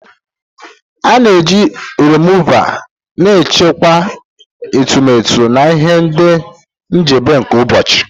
A na-eji remuva na-ehichapụ etemeete na ihu na njedebe nke ụbọchị.